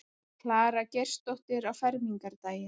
Klara Geirsdóttir á fermingardaginn.